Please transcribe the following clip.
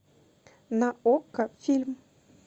на окко фильм